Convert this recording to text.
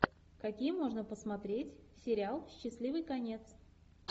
какие можно посмотреть сериал счастливый конец